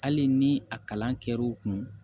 Hali ni a kalan kɛr'u kun